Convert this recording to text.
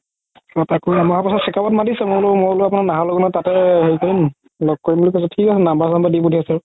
তাকো এহমাহৰ পাছত checkup ত মাতিছে মই বুলো মই বুলো আপোনাৰ নাৰায়ানা তাতে হেৰি কৰিম ল'গ কৰিম বুলি কৈছো থিক আছে number চাম্বাৰ দি পথিয়াছে